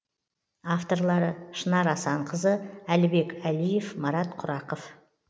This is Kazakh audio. авторлары шынар асанқызы әлібек әлиев марат құрақов